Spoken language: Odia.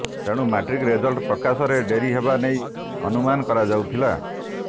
ତେଣୁ ମାଟ୍ରିକ ରେଜଲ୍ଟ ପ୍ରକାଶରେ ଡେରି ହେବା ନେଇ ଅନୁମାନ କରାଯାଉଥିଲା